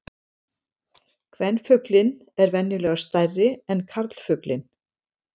Kvenfuglinn er venjulega stærri en karlfuglinn.